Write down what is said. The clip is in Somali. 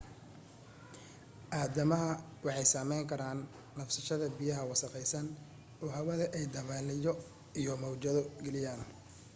aadamaha waxay saameyn kara neefsashada biyo wasakhaysan oo hawada ay dabaylo iyo mawjado geliyeen